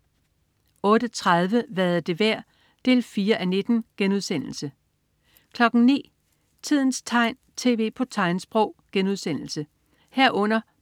08.30 Hvad er det værd? 4:19* 09.00 Tidens tegn, tv på tegnsprog* 09.00